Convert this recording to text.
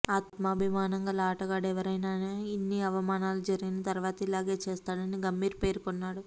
ఆత్మాభిమానం గల ఆటగాడు ఎవరైనా ఇన్ని అవమానాలు జరిగిన తర్వాత ఇలాగే చేస్తాడని గంభీర్ పేర్కొన్నాడు